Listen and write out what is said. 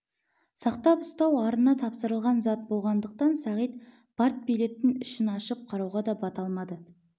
сақтап ұстау арына тапсырылған зат болғандықтан сағит партбилеттің ішін ашып қарауға да бата алмады